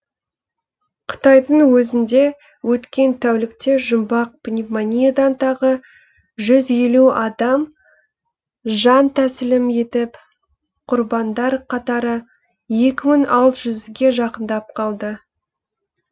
қытайдың өзінде өткен тәулікте жұмбақ пневмониядан тағы жұз елу адам жантәсілім етіп құрбандар қатары екі мың алты жүзге жақындап қалды